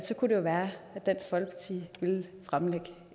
så kunne være at dansk folkeparti vil fremlægge